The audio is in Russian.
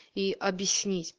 и объяснить